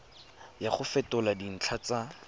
ya go fetola dintlha tsa